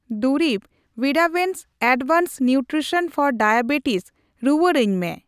ᱫᱩᱨᱤᱵᱽ evidence advanced nutrition for diabetes ᱨᱩᱣᱟᱲᱟᱧ ᱢᱮ ᱾